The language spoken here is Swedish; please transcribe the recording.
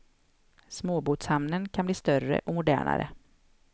Småbåtshamnen kan bli större och modernare.